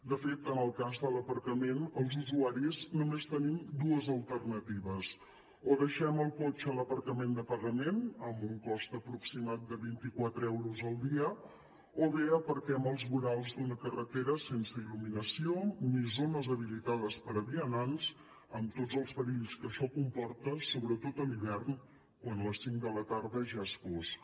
de fet en el cas de l’aparcament els usuaris només tenim dues alternatives o deixem el cotxe a l’aparcament de pagament amb un cost aproximat de vint quatre euros al dia o bé aparquem als vorals d’una carretera sense il·luminació ni zones habilitades per a vianants amb tots els perills que això comporta sobretot a l’hivern quan a les cinc de la tarda ja és fosc